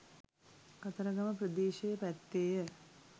කතරගම ප්‍රදේශය පැත්තේය.